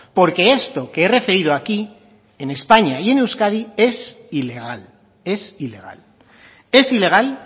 porque esto que he referido aquí en españa y en euskadi es ilegal es ilegal es ilegal